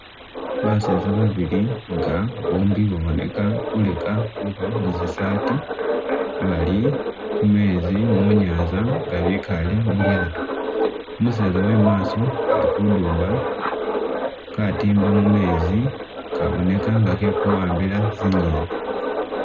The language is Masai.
Bazeza babili nga bombi baboneka khuleka khuba mu'tsisati balikumezi munyanza nga bikale mulyato umuzeza wemumaso ali khundumba katimba mumezi khabonekha nga khekhu ambila tsingeni